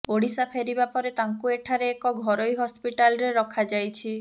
ଓଡ଼ିଶା ଫେରିବା ପରେ ତାଙ୍କୁ ଏଠାରେ ଏକ ଘରୋଇ ହସ୍ପିଟାଲରେ ରଖାଯାଇଛି